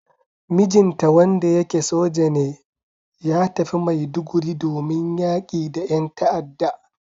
Mijinta wanda yake soja ne, ya tafi Maiduguri domin yaƙi da yan ta'ada.